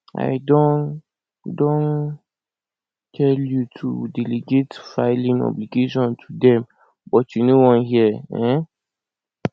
i don don tell you to delegate filing obligation to dem but you no wan hear um